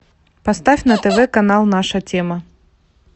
поставь на тв канал наша тема